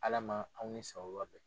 Ala ma aw ni sababan bɛn.